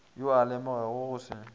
yo a lemogago go se